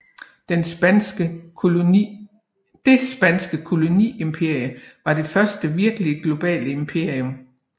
Det spanske koloniimperium var det første virkeligt globale imperium